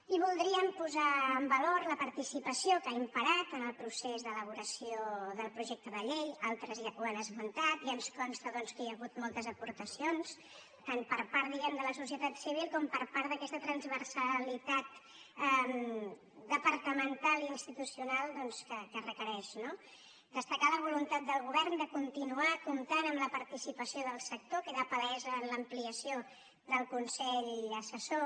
i voldríem posar en valor la participació que ha imperat en el procés d’elaboració del projecte de llei altres ja ho han esmentat i ens costa que hi ha hagut moltes aportacions tant per part de la societat civil com per part d’aquesta transversalitat departamental i institucional que requereix no destacar la voluntat del govern de continuar comptant amb la participació del sector queda palesa en l’ampliació del consell assessor